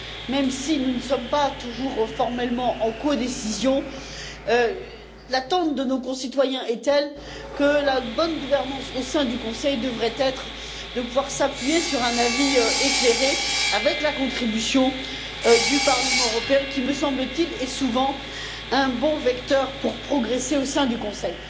Même si nous ne sommes pas toujours formellement en codécision, l'attente de nos concitoyens est telle que la bonne gouvernance au sein du Conseil devrait être de pouvoir s'appuyer sur un avis éclairé, avec la contribution du Parlement européen qui, me semble t il, est souvent un bon vecteur pour progresser au sein du Conseil.